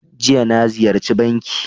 Jiya, na Ziyarchi banki.